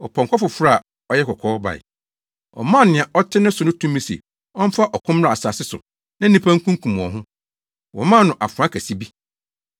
Ɔpɔnkɔ foforo a ɔyɛ kɔkɔɔ bae. Ɔmaa nea ɔte ne so no tumi se ɔmfa ɔko mmra asase so na nnipa nkunkum wɔn ho. Wɔmaa no afoa kɛse bi.